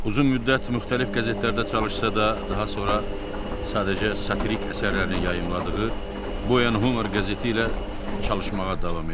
Uzun müddət müxtəlif qəzetlərdə çalışsa da, daha sonra sadəcə satirik əsərlərini yayımladığı Boyen Humer qəzeti ilə çalışmağa davam edib.